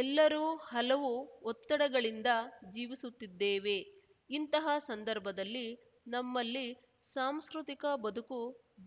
ಎಲ್ಲರೂ ಹಲವು ಒತ್ತಡಗಳಿಂದ ಜೀವಿಸುತ್ತಿದ್ದೇವೆ ಇಂತಹ ಸಂದರ್ಭದಲ್ಲಿ ನಮ್ಮಲ್ಲಿ ಸಾಂಸ್ಕೃತಿಕ ಬದುಕು